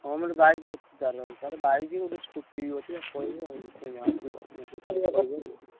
ସୋମର bike ଅଛି ତାର ହଁ ତାର bike ଗୋଟେ scooty ବି ଅଛି। ତାକୁ କହିବି ଆଉ ସିଏ ଆସିବ ।